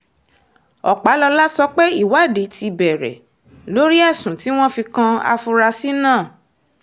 ọpàlọ́lá sọ pé ìwádìí ti bẹ̀rẹ̀ lórí ẹ̀sùn tí wọ́n fi kan afurasí náà